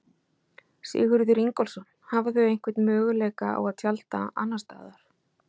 Sigurður Ingólfsson: Hafa þau einhvern möguleika á að tjalda annars staðar?